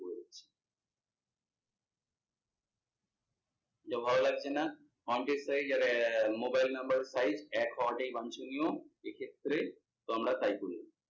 যা ভালো লাগছে না, এর size আর mobile number size এক হওয়াটাই বাঞ্চনীয়, এক্ষেত্রে তোমরা তাই করবে।